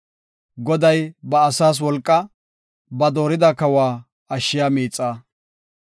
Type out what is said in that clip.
Goday ba asaas wolqa; ba dooridi kawa ashshiya miixa.